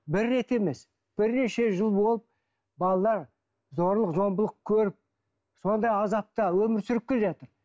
бір рет емес бірнеше жыл болып балалар зорлық зомбылық көріп сондай азапта өмір сүріп келе жатыр